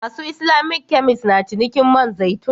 Masu Islamic kemis na cinikin man zaitun.